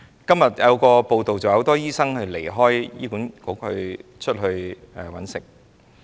今天有一則報道，指很多醫生離開醫管局加入私營市場。